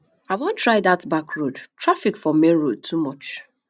i wan try dat back road traffic for main road too much